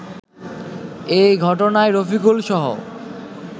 এ ঘটনায় রফিকুলসহ